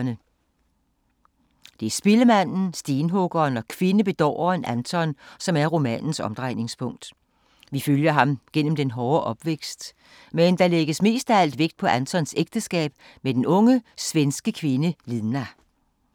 Det er spillemanden, stenhuggeren og kvindebedåreren Anton, som er romanens omdrejningspunkt. Vi følger ham gennem den hårde opvækst, men der lægges mest af alt vægt på Antons ægteskab med den unge, svenske kvinde Lina.